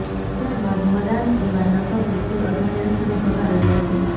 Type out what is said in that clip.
ત્યારબાદ મદાન પરિવારના સભ્યો કોઈ અજાણ્યા સ્થળે જતા રહ્યાં છે